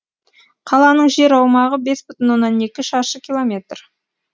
қаланың жер аумағы бес бүтін оннан екі шаршы километр